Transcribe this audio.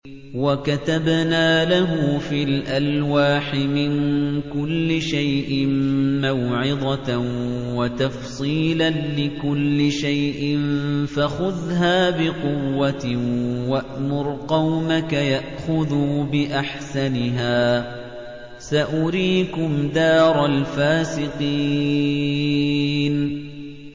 وَكَتَبْنَا لَهُ فِي الْأَلْوَاحِ مِن كُلِّ شَيْءٍ مَّوْعِظَةً وَتَفْصِيلًا لِّكُلِّ شَيْءٍ فَخُذْهَا بِقُوَّةٍ وَأْمُرْ قَوْمَكَ يَأْخُذُوا بِأَحْسَنِهَا ۚ سَأُرِيكُمْ دَارَ الْفَاسِقِينَ